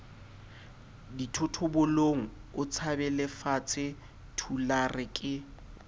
dithotobolong o tshabelefatshe thulare ke